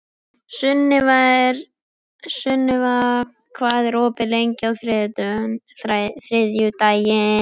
Sunniva, hvað er opið lengi á þriðjudaginn?